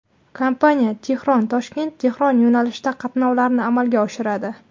Kompaniya TehronToshkentTehron yo‘nalishida qatnovlarni amalga oshiradi.